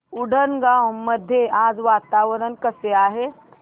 उंडणगांव मध्ये आज वातावरण कसे आहे